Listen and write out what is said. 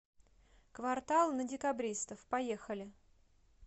квартал на декабристов поехали